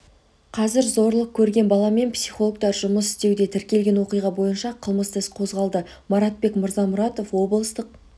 қазір зорлық көрген баламен психологтар жұмыс істеуде тіркелген оқиға бойынша қылмысты іс қозғалды маратбек мырзамұратов облыстық